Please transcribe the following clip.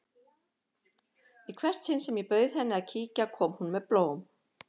Í hvert sinn sem ég bauð henni að kíkja kom hún með blóm.